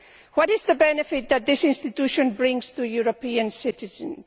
What is the benefit that this institution brings to European citizens?